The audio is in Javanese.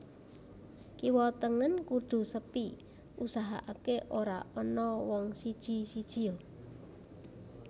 Kiwa tengen kudu sepi usahaaké ora ana wong siji sijia